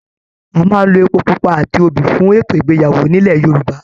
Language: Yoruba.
A máa n ló èpo pupa àti obì fún ètò ìgbéyàwó nilo Yorùbá.